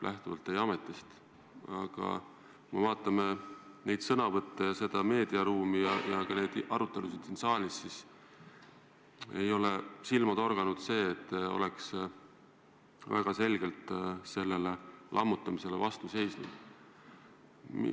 Aga kui me jälgime meediaruumi ja ka arutelusid siin saalis, siis ei ole silma torganud, et te oleks väga selgelt sellele lammutamisele vastu seisnud.